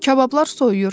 Kabablar soyuyur.